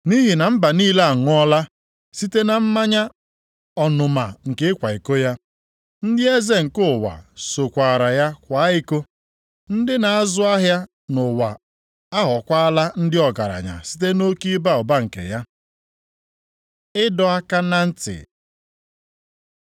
Nʼihi na mba niile aṅụọla site na mmanya ọnụma nke ịkwa iko ya. Ndị eze nke ụwa sokwaara ya kwaa iko, ndị na-azụ ahịa nʼụwa aghọkwaala ndị ọgaranya site nʼoke ịba ụba nke ya.” Ịdọ aka na ntị